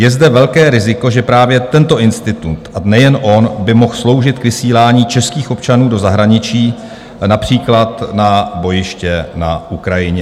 Je zde velké riziko, že právě tento institut, a nejen on, by mohl sloužit k vysílání českých občanů do zahraničí, například na bojiště na Ukrajině.